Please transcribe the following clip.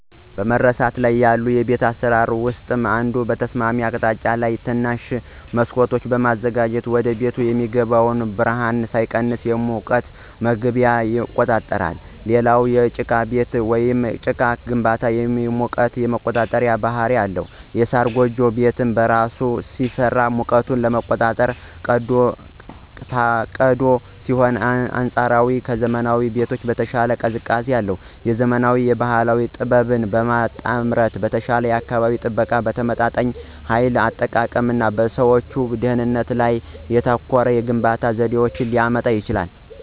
በመረሳት ላይ ያሉ የቤት አሰራሮች ውስጥ አንዱ በተስማሚ አቅጣጫ ላይ ትናንሽ መስኮቶችን በማዘጋጀት ወደቤት የሚገባው ብርሃን ሳይቀንስ የሙቀት መግቢያ ይቆጣጠራል። ሌላው የጭቃ ጡብ ወይም ጭቃ ግንባታ የሙቀት የመቆጣጠር ባህሪ አለው። የሳር ጎጆ ቤት በራሱ ሲሰራ ሙቀትን ለመቆጣጠር ታቅዶ ሲሆን አንፃራዊ ከዘመናዊ ቤቶች በተሻለ ቀዝቃዛ ነው። የዘመናዊ እና የባህል ጥበብ ጥምረት በተሻለ የአካባቢ ጥበቃ፣ በተመጣጣኝ ኃይል አጠቃቀም እና በሰዎች ደህንነት ላይ ያተኮረ የግንባታ ዘዴን ሊያመጣ ይችላል።